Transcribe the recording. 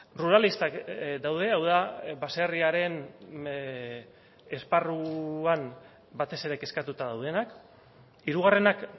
ruralistak daude hau da baserriaren esparruan batez ere kezkatuta daudenak hirugarrenak